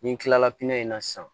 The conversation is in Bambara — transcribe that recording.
Ni n kilala in na sisan